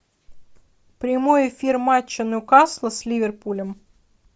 прямой эфир матча ньюкасла с ливерпулем